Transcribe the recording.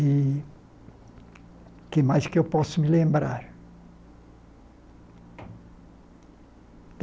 E o que mais que eu posso me lembrar?